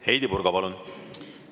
Heidy Purga, palun!